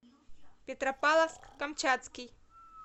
петропавловск камчатский